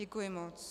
Děkuji moc.